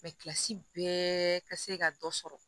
kilasi bɛɛ ka se ka dɔ sɔrɔ